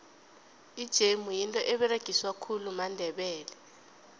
ijemu yinto eberegiswa khulu mandebele